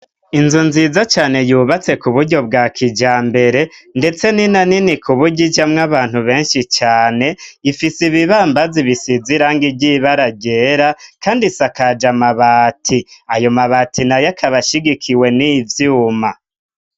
Inzu nziza cane yubatse ku buryo bwa kijambere ndetse nina nini kuburyo ijamwo abantu benshi cane, ifise ibibambazi bisize irangi ry'ibara ryera kandi isakaje amabati, ayo mabati nayo akaba ashigikiwe n'ivyuma.